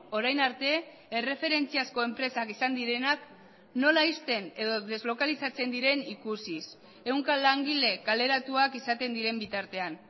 orain arte erreferentziazko enpresak izan direnak nola ixten edo deslokalizatzen diren ikusiz ehunka langile kaleratuak izaten diren bitartean